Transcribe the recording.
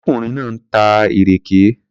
Arákùnrin náà ń ta ìrèké.